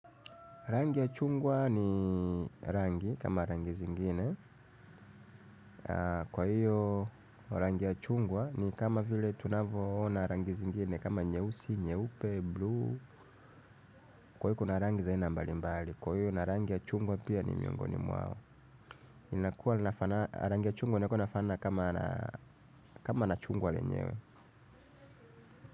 Rangi ya chungwa ni rangi kama rangi zingine. Kwa hiyo rangi ya chungwa ni kama vile tunavyo ona rangi zingine kama nyeusi, nyeupe, bluu. Kwa hiyo kuna rangi za aina mbalimbali. Kwa hiyo rangi ya chungwa pia ni miongoni mwao. Inakua rangi ya chungwa nakuwa nafana kama na chungwa lenyewe.